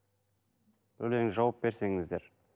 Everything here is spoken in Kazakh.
жауап берсеңіздер